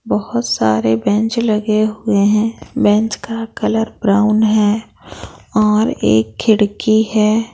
बहुत सारे बेंच लगे हुए हैं बेंच का कलर ब्राउन है और एक खिड़की है।